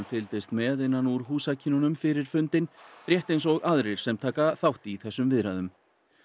fylgdist með innan úr fyrir fundinn rétt eins og aðrir sem taka þátt í þessum viðræðum